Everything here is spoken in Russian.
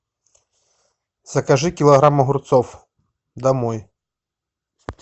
закажи килограмм огурцов домой